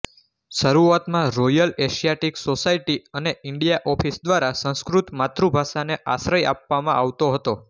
શરૂઆતમાં Royal Asiatic Society અને India Office દ્વારા સંસ્કૃત માતૃભાષાને આશ્રય આપવામાં આવતો હતો